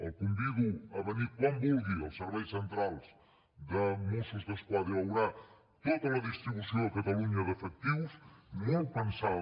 el convido a venir quan vulgui als serveis centrals de mossos d’esquadra i veurà tota la distribució a catalunya d’efectius molt pensada